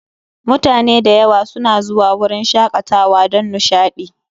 Mutane da yawa suna zuwa wurin shakatawa don nishaɗi